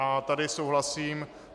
A tady souhlasím.